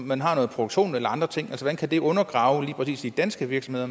man har noget produktion eller andre ting hvordan kan det undergrave lige præcis de danske virksomheder